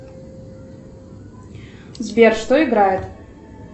сбер что играет